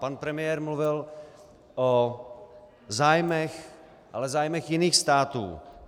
Pan premiér mluvil o zájmech, ale zájmech jiných států.